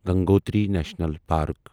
Gangotri national park